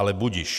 Ale budiž.